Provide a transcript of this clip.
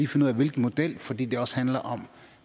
finde ud af hvilken model fordi det også handler om